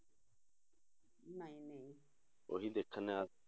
ਉਹੀ ਦੇਖਣਾ।